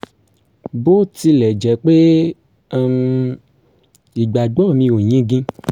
bó tilẹ̀ jẹ́ pé um ìgbàgbọ́ mi ò yingin